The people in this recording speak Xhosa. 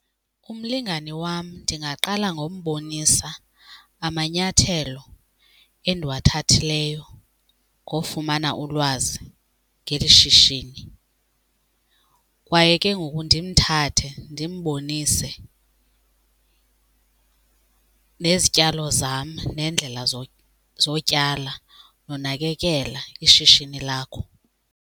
Umlingane wam ndingaqala ngombonisa amanyathelo endiwathathileyo ngofumana ulwazi ngeli shishini kwaye ke ngoku ndimthathe ndimbonise nezityalo zam nendlela zotyala nonakekela ishishini lakho.